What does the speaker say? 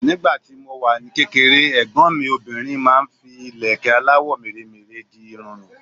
Nígbà tí mo wà ní kékeré, ẹ̀gbọ́n mi obìnrin máa ń fi ìlẹ̀kẹ́ aláwọ̀ mèremère di irun mi.